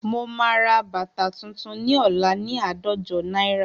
Mo máa ra bàtà tuntun ní ọ̀la ni àádọ́jo náírà